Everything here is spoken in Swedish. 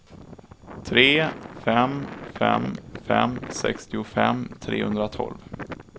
tre fem fem fem sextiofem trehundratolv